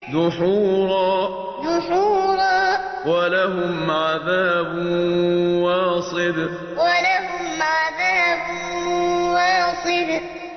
دُحُورًا ۖ وَلَهُمْ عَذَابٌ وَاصِبٌ دُحُورًا ۖ وَلَهُمْ عَذَابٌ وَاصِبٌ